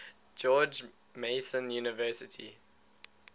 george mason university